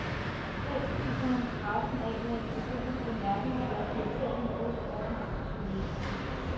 Helst spiser han pressen af med en ironisk bemærkning eller et irriterende modspørgsmål til journalisterne.